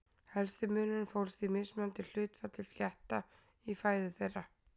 Helsti munurinn fólst í mismunandi hlutfalli flétta í fæðu þeirra.